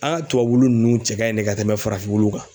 An ŋa tubabu wulu nunnu cɛ ka ɲi dɛ ka tɛmɛ farafin wulu kan.